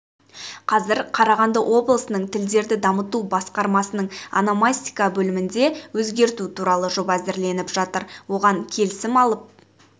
қазір қарағанды облысының тілдерді дамыту басқармасының ономастика бөлімінде өзгерту туралы жоба әзірленіп жатыр оған келісім алып